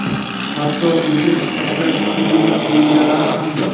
hatto o‘tin sifatida sotuvga qo‘yilganlari ham bor.